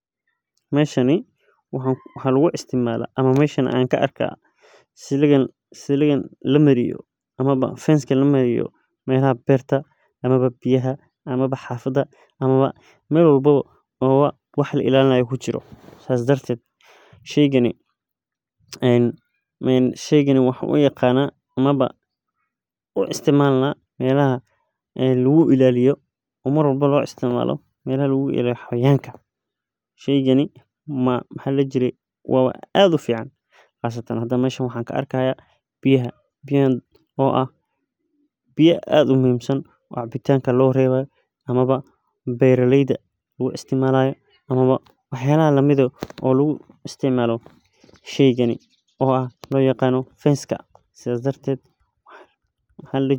Meesha waxaa lagu isticmaala ama aan arkaa siliga lamariyo meelaha beerta ama xafada aama meelaha biyaha oo lagu ilaaliyo wxaan unaqanaa meelaha kagu ilaaliyo xawayanaha waxaan arkaa biyaha oo ah kuwa aad muhiim u ah oo loo reebayo cabitaan ama beeraleyda.